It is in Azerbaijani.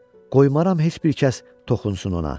Qoymaram heç bir kəs toxunsun ona.